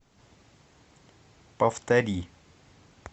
повтори